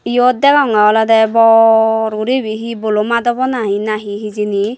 eyot degonge olode bor guri ebe he bolomat obo nahi nahi he hejeni.